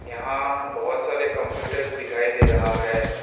यहां बहुत सारे कंप्यूटर्स दिखाई दे रहा है।